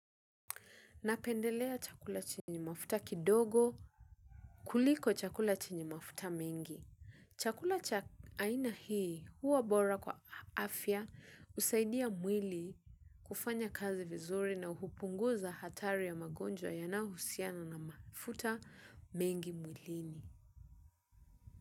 Napendelea chakula chenye mafuta kidogo kuliko chakula chenye mafuta nyingi. Chakula cha aina hii huwa bora kwa afya husaidia mwili kufanya kazi vizuri na hupunguza hatari ya magonjwa yanayohusiana na mafuta mengi mwilini.